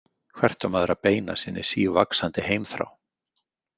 Hvert á maður að beina sinni sívaxandi heimþrá?